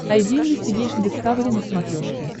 айди инвестигейшн дискавери на смотрешке